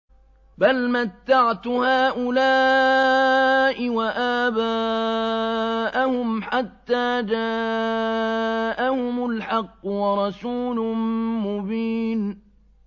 بَلْ مَتَّعْتُ هَٰؤُلَاءِ وَآبَاءَهُمْ حَتَّىٰ جَاءَهُمُ الْحَقُّ وَرَسُولٌ مُّبِينٌ